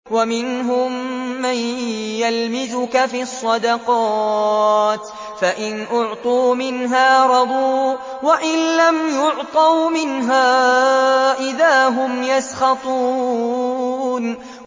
وَمِنْهُم مَّن يَلْمِزُكَ فِي الصَّدَقَاتِ فَإِنْ أُعْطُوا مِنْهَا رَضُوا وَإِن لَّمْ يُعْطَوْا مِنْهَا إِذَا هُمْ يَسْخَطُونَ